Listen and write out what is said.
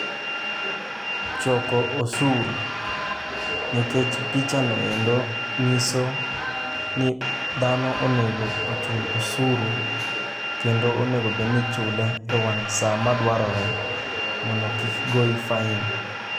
Choko osuru: nikech pichav noero nyiso ni dhano onego ochul osuru, kendo onegobedni ichule e wang' sa madwarore. Mondo kik goyi fain.